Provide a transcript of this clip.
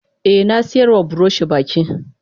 Eh nasiyarwa buroshi goge baki.